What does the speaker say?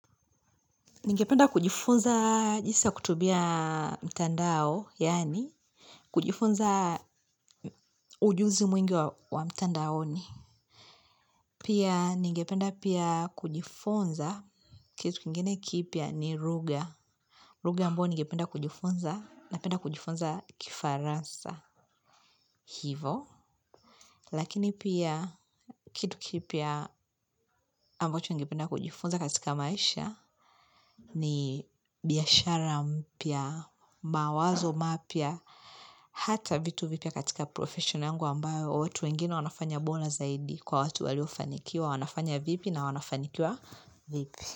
Ningependa kujifunza jinsi ya kutumia mtandao, yani kujifunza ujuzi mwingi wa mtandaoni. Pia ningependa pia kujifunza kitu kingine kipya ni ruga. Ruga ambayo ningependa kujifunza napenda kujifunza kifarasa. Hivo. Lakini pia kitu kipya ambacho ningependa kujifunza katika maisha ni biashara mpya, mawazo mapya. Hata vitu vipya katika profession yangu ambayo watu wanafanya bora zaidi, kwa watu waliofanikiwa wanafanya vipi na wanafanikiwa vipi.